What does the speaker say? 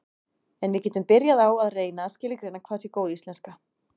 en við getum byrjað á að reyna að skilgreina hvað sé góð íslenska